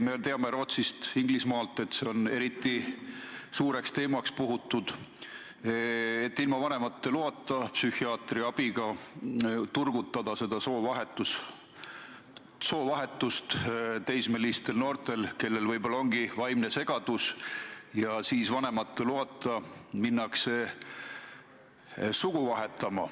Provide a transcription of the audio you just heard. Me teame Rootsist ja Inglismaalt, et see teema on eriti suureks puhutud – ilma vanemate loata ja psühhiaatri abiga turgutada soovahetuse soovi teismelistel noorte, kellel võib-olla on vaimne segadus ja kes siis vanemate loata lähevadki sugu vahetama.